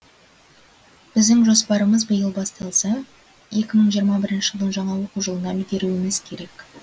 біздің жоспарымыз биыл басталса екі мың жиырма бірінші жылдың жаңа оқу жылына үлгеруіміз керек